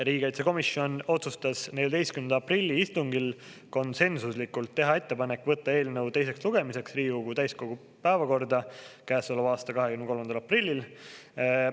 Riigikaitsekomisjon otsustas 14. aprilli istungil konsensuslikult teha ettepanek võtta eelnõu teiseks lugemiseks Riigikogu täiskogu päevakorda käesoleva aasta 23. aprillil.